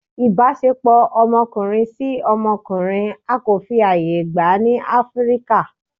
ìbáṣepọ ọmọkunrin si ọmọkunrin á ko fí ayẹ gba ni Afirika